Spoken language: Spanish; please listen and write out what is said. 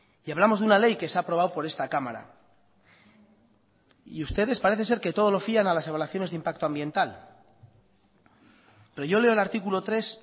y hablamos de una ley que se ha aprobado por esta cámara y ustedes parece ser que todo lo fían a las evaluaciones de impacto ambiental pero yo leo el artículo tres